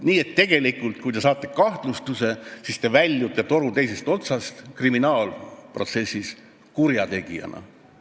Nii et tegelikult, kui te saate kahtlustuse, siis kriminaalprotsessis te väljute toru teisest otsast kurjategijana.